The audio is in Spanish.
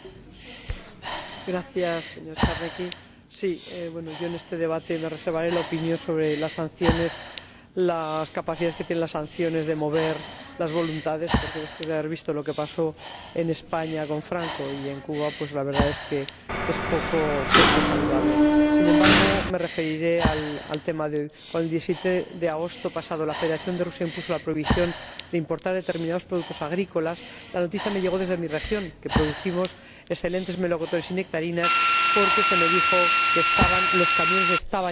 Señor Presidente, en este debate me reservaré la opinión sobre las capacidades que tienen las sanciones de mover las voluntades porque después de haber visto lo que pasó en España con Franco y en Cuba, la verdad es que es poco saludable. Sin embargo, me referiré al tema de hoy. Cuando el 17 de agosto pasado la Federación de Rusia impuso la prohibición de importar determinados productos agrícolas, la noticia me llegó desde mi región —en la que producimos excelentes melocotones y nectarinas—, porque se me dijo que los camiones estaban ya en la frontera rusa,